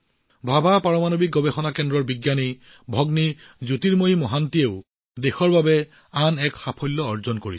ভাবা পাৰমাণৱিক গৱেষণা কেন্দ্ৰৰ বিজ্ঞানী ভগ্নী জ্যোতিৰ্ময়ী মহান্তিয়েও দেশৰ বাবে আন এক সাফল্য অৰ্জন কৰিছে